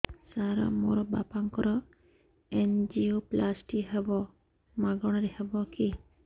ସାର ମୋର ବାପାଙ୍କର ଏନଜିଓପ୍ଳାସଟି ହେବ ମାଗଣା ରେ ହେବ କି